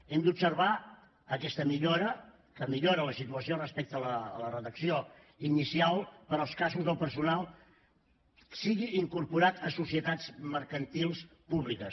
hem d’observar que aquesta millora que millora la situació respecte a la redacció inicial per als casos del personal sigui incorporada a societats mercantils públiques